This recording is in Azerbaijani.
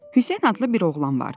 Hüseyn adlı bir oğlan vardı.